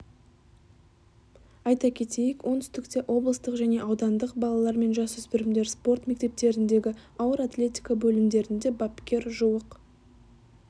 айта кетейік оңтүстікте облыстық және аудандық балалар мен жасөспірімдер спорт мектептеріндегі ауыр атлетика бөлімдерінде бапкер жуық